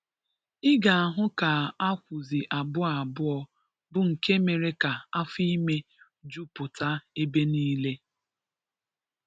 ị ga-ahụ ka a kwụsị abụọ abụọ bụ nke mere ka afọ ime juputa ebe niile.